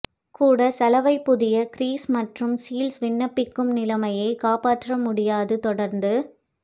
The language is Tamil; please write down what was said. கூட சலவை புதிய கிரீஸ் மற்றும் மாற்று சீல்ஸ் விண்ணப்பிக்கும் நிலைமை காப்பாற்ற முடியாது தொடர்ந்து